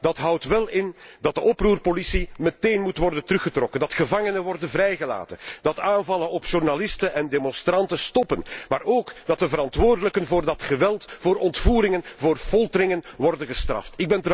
Maar dat houdt wel in dat de oproerpolitie meteen moet worden teruggetrokken, dat gevangen moeten worden vrijgelaten, dat aanvallen op journalisten en demonstranten moeten stoppen, maar ook dat de verantwoordelijken voor dat geweld, voor ontvoeringen, voor folteringen moeten worden gestraft.